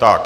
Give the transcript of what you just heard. Tak.